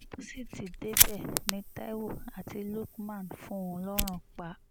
bó sì ti débẹ̀ ni taiwo àti lukman fún un lọ́rùn pa